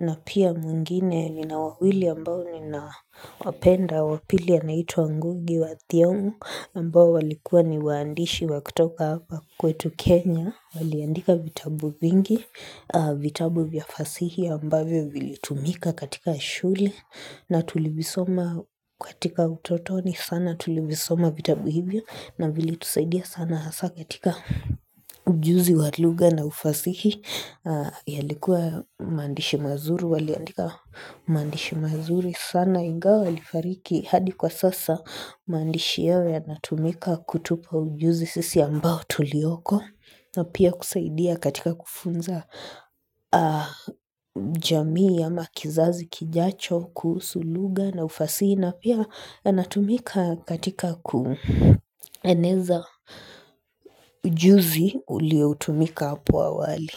na pia mwingine nina wawili ambao ninawapenda wa pili anaitwa wa ngugi wa thiongo ambao walikuwa ni waandishi wa kutoka hapa kwetu Kenya Waliandika vitabu vingi, vitabu vya fasihi ambayo vilitumika katika shule na tulivisoma katika utotoni sana tulivisoma vitabu hivyo na vilitusaidia sana hasa katika ujuzi walugha na ufasihi yalikuwa maandishi mazuri waliandika maandishi mazuri sana ingawa walifariki hadi kwa sasa maandishi yao na tumika kutupa ujuzi sisi ambao tulioko na pia kusaidia katika kufunza jamii ama kizazi kijacho, kuhusu lugha na ufasihi na pia anatumika katika kueneza ujuzi ulio utumika apo awali.